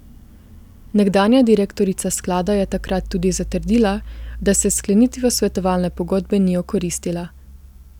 Nekdanja direktorica sklada je takrat tudi zatrdila, da se s sklenitvijo svetovalne pogodbe ni okoristila.